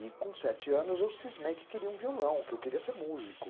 E com sete anos eu cismei que queria um violão, que eu queria ser músico.